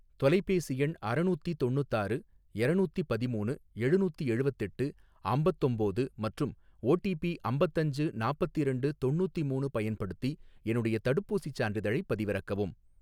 தொலைபேசி எண் அறநூத்தி தொண்ணூத்தாறு எரநூத்தி பதிமூணு எழுநூத்தி எழுவத்தெட்டு அம்பத்தொம்போது மற்றும் ஓடிபி அம்பத்தஞ்சு நாப்பத்திரெண்டு தொண்ணூத்திமூணு பயன்படுத்தி என்னுடைய தடுப்பூசிச் சான்றிதழைப் பதிவிறக்கவும்.